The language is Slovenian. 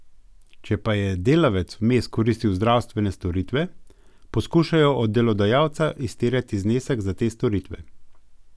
Če pa je delavec vmes koristil zdravstvene storitve, poskušajo od delodajalca izterjati znesek za te storitve.